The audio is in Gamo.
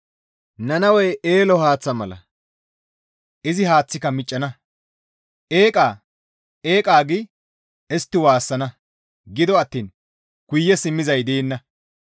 Nannawey eele haaththa mala; izi haaththika miccana. «Eqqa! Eqqa!» gi istti waassana; gido attiin guye simmizay deenna.